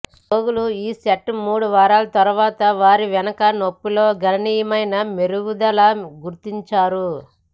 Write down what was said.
రోగులు ఈ సెట్ మూడు వారాల తర్వాత వారి వెనుక నొప్పి లో గణనీయమైన మెరుగుదల గుర్తించారు